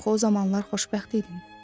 Axı o zamanlar xoşbəxt idin.